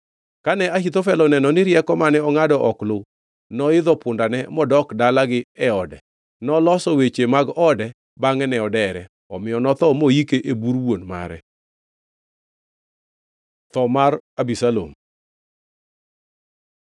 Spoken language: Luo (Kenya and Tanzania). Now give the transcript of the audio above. Kane Ahithofel oneno ni rieko mane ongʼado ok oluw, noidho pundane modok dalagi e ode. Noloso weche mag ode; bangʼe ne odere. Omiyo notho moike e bur wuon mare. Tho mar Abisalom